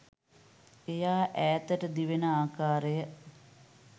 එය ඈතට දිවෙන ආකාරය